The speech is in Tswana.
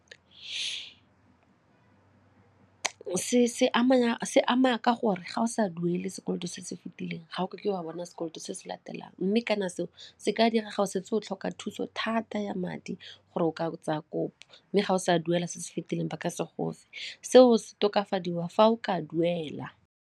Se se ama ka gore ga o sa duele sekoloto se se fetileng ga ke wa bona sekoloto se se latelang mme kana seo se ka dira ga o setse o tlhoka thuso thata ya madi gore o ka tsaya kopo mme ga o sa duela se se fitileng ba ka se gofe. Seo se tokafadiwa fa o ka duela.